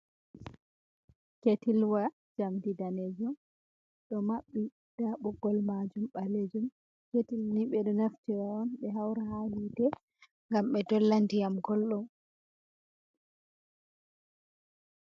Ketilwa jamdi danejun ɗo mabbi nda ɓoggol majum ɓalejum, ketilni ɓeɗo naftira on ɓe haura ha hite gam ɓe dolla diyam goldum.